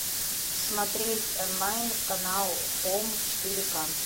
смотреть онлайн канал хоум четыре ка